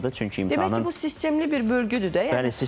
Çünki imtahanın Deməli bu sistemli bir bölgüdür də yəni.